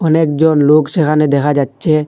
অনেকজন লোক সেখানে দেখা যাচ্ছে।